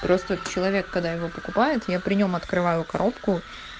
просто человек когда его покупают я при нем открываю коробку